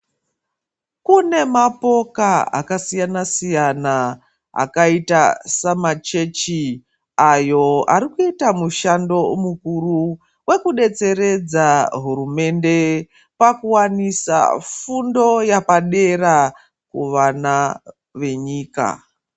Kune mapoka akasiyana siyana akaita samachechi ayo ari kuita mushando mukuru wekudetsereredza hurumende pakuwanisa fundo yapadera kuvana venyika.